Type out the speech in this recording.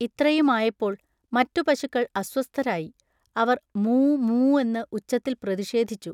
ഇത്രയുമായപ്പോൾ മറ്റുപശുക്കൾ അസ്വസ്ഥരായി. അവർ മൂ മൂ എന്ന് ഉച്ചത്തിൽ പ്രതിഷേധിച്ചു